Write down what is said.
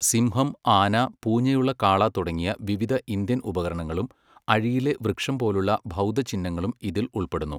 സിംഹം, ആന, പൂഞ്ഞയുള്ള കാള തുടങ്ങിയ വിവിധ ഇന്ത്യൻ ഉപകരണങ്ങളും അഴിയിലെ വൃക്ഷം പോലുള്ള ബൗദ്ധ ചിഹ്നങ്ങളും ഇതിൽ ഉൾപ്പെടുന്നു.